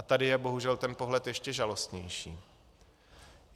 A tady je bohužel ten pohled ještě žalostnější.